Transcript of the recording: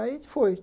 Aí foi.